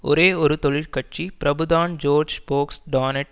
ஒரே ஒரு தொழிற்கட்சி பிரபுதான் ஜோர்ஜ் போக்ஸ் டான்னட்